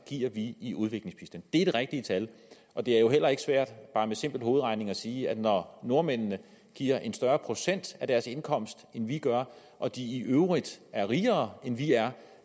i i udviklingsbistand det er det rigtige tal det er jo heller ikke svært bare med simpel hovedregning at sige at når nordmændene giver en større procentdel af deres indkomst end vi gør og de i øvrigt er rigere end vi er